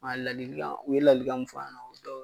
A ladilikan u ye ladilikan mun fɔ an ɲɛna.